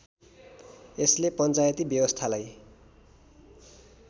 यसले पञ्चायती व्यवस्थालाई